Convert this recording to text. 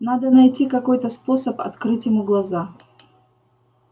надо найти какой-то способ открыть ему глаза